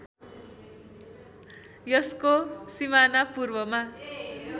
यसको सिमाना पूर्वमा